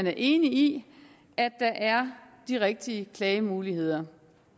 er enig i at der er de rigtige klagemuligheder